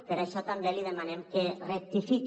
per això també li demanem que rectifique